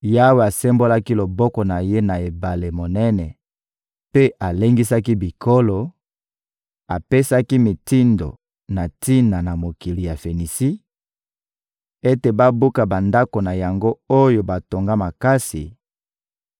Yawe asembolaki loboko na Ye na ebale monene mpe alengisaki bikolo, apesaki mitindo na tina na mokili ya Fenisi ete babuka bandako na yango oyo batonga makasi;